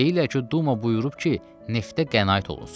Deyirlər ki, Duma buyurub ki, neftə qənaət olunsun.